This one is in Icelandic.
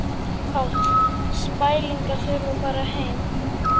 Páll: Spæling að þurfa að fara heim?